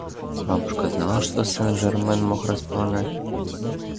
бабушка знала что сен-жермен мог располагать